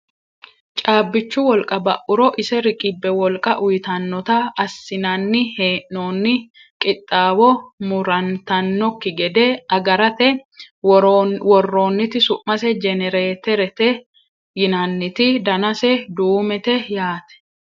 Caabbichu wolqa ba'uro ise riqibbe wolqa uyiitannotanna assinanni hee'noonni qixxaawo murantannokki gede agarate worroonniti su'mase jenereeterete yinanniti danase duumete yaate